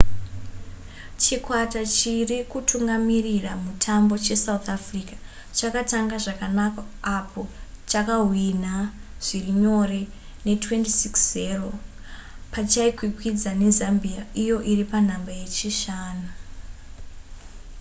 chikwata chiri kutungamirira mutambo chesouth africa chakatanga zvakanaka apo chakahwinha zviri nyore ne26 - 00 pachaikwikwidzana nezambia iyo iri panhamba yechishanu